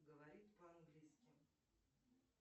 говорит по английски